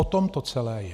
O tom to celé je.